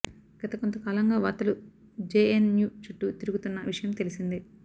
గత కొంత కాలంగా వార్తలు జే ఎన్ యూ చుట్టూ తీరుగుతున్న విషయం తెలిసిందే